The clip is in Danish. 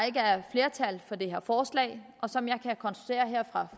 ikke er flertal for det her forslag som jeg kan konstatere her